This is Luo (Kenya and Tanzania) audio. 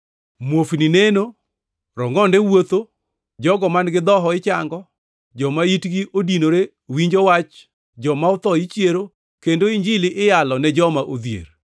Muofni neno, rongʼonde wuotho, jogo man-gi dhoho ichango, joma itgi odinore winjo wach, joma otho ichiero, kendo Injili iyalo ne joma odhier.